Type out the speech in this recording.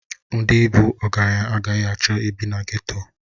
Ndị bụ ọgaranya agaghị achọ ịbi na geto.